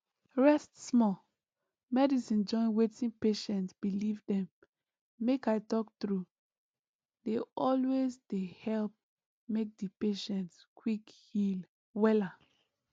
rest small medicine join wetin patient believe dem make i talk true dey always dey help make di patient quick heal wella